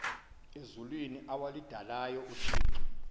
ezulwini awalidalayo uthixo